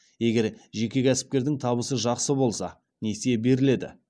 егер жеке кәсіпкердің табысы жақсы болса несие беріледі